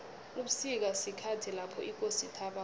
ubusika sikhathi lapho ikosi ithaba khona